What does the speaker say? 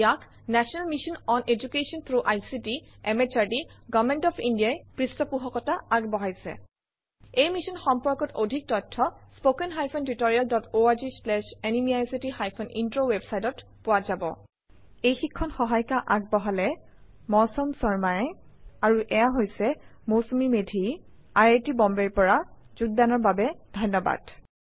ইয়াক national mission on education through ICT MHRD government of India ই পৃষ্ঠপোষকতা আগবঢ়াইছে এই মিশ্যন সম্পৰ্কত অধিক তথ্য spoken hyphen tutorial dot org slash এনএমইআইচিত হাইফেন ইন্ট্ৰ ৱেবচাইটত পোৱা যাব আমি অপুনাৰ অন্শগ্ৰহন আৰু প্ৰতিক্ৰিয়া স্ৱাগতম জনাইচু মই মৌচুমি মেধি চাইন অফ কৰিচু সহযোগ কৰাৰ কাৰনে ধন্য়বাদ নমস্কাৰ